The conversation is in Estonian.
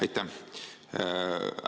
Aitäh!